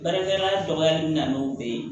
Baarakɛ yɔrɔ dɔgɔyali bɛ na n'o bɛɛ ye